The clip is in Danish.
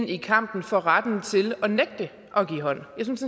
i kampen for retten til at nægte at give hånd jeg synes